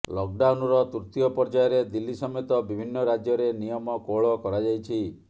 ଲକ୍ଡାଉନ୍ର ତୃତୀୟ ପର୍ଯ୍ୟାୟରେ ଦିଲ୍ଲୀ ସମେତ ବିଭିନ୍ନ ରାଜ୍ୟରେ ନିୟମ କୋହଳ କରାଯାଇଛି